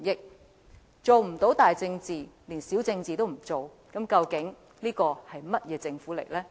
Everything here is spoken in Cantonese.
如果做不到大政治，連小政治都不做，這究竟是一個甚麼樣的政府呢？